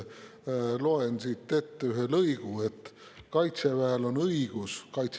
Loen siit ette ühe lõigu: "Kaitseväel [Mereväel siis.